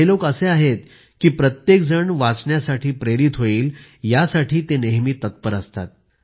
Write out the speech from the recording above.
ये लोक असे आहेत की प्रत्येक जण वाचण्यासाठी प्रेरित होईल यासाठी नेहमी तत्पर असतात